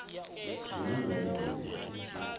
zwi na bvelele dzi si